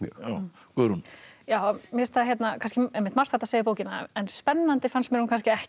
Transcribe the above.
Guðrún já mér finnst margt hægt að segja um bókina en spennandi fannst mér hún kannski ekki